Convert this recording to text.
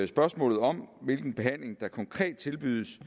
spørgsmålet om hvilken behandling der konkret tilbydes